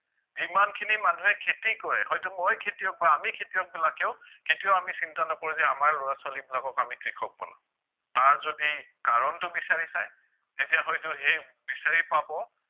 যিমানখিনি মানুহে খেতি কৰে হয়তো মই খেতিয়ক বা আমি খেতিয়কবিলাকেও কেতিয়াও আমি চিন্তা নকৰো যে আমাৰ লৰা ছোৱালীবিলাকক আমি কৃষক বনাম তাৰ যদি কাৰণটো বিছাৰি চায় তেতিয়া হয়তো সেই বিছাৰি পাব